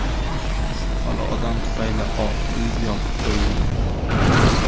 Shubhali odam tufayli Oq Uy yopib qo‘yildi.